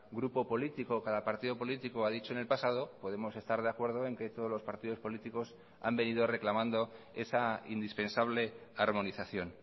grupo político o cada partido político ha dicho en el pasado podemos estar de acuerdo en que todos los partidos políticos han venido reclamando esa indispensable armonización